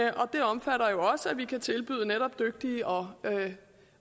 og det omfatter jo også at vi netop kan tilbyde dygtige og